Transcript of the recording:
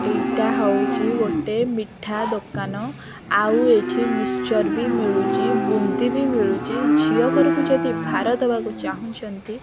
ଏଇଟା ହଉଚି ଗୋଟେ ମିଠା ଦୋକାନ ଆଉ ଏଠି ମିଶ୍ଚର୍ ବି ମିଳୁଚି ବୁନ୍ଦି ବି ମିଳୁଚି ଝିଅ ଘରକୁ ଯଦି ଭାର ଦବାକୁ ଚାହୁଁଛନ୍ତି --